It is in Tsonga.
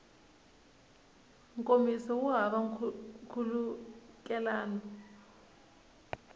nkomiso wu hava nkhulukelano wa